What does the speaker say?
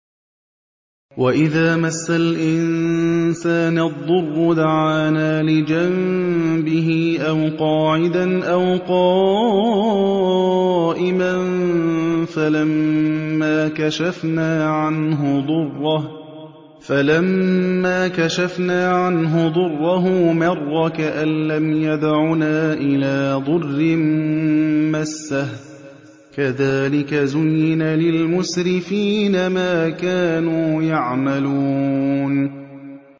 وَإِذَا مَسَّ الْإِنسَانَ الضُّرُّ دَعَانَا لِجَنبِهِ أَوْ قَاعِدًا أَوْ قَائِمًا فَلَمَّا كَشَفْنَا عَنْهُ ضُرَّهُ مَرَّ كَأَن لَّمْ يَدْعُنَا إِلَىٰ ضُرٍّ مَّسَّهُ ۚ كَذَٰلِكَ زُيِّنَ لِلْمُسْرِفِينَ مَا كَانُوا يَعْمَلُونَ